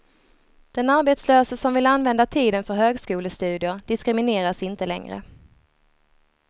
Den arbetslöse som vill använda tiden för högskolestudier diskrimineras inte längre.